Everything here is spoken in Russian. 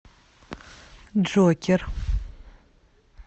джокер